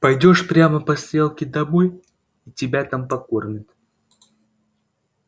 пойдёшь прямо по стрелке домой и тебя там покормят